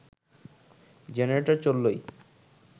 generator চললেই